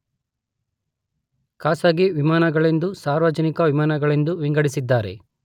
ಖಾಸಗಿ ವಿಮಾನಗಳೆಂದೂ ಸಾರ್ವಜನಿಕ ವಿಮಾನಗಳೆಂದೂ ವಿಂಗಡಿಸಿದ್ದಾರೆ.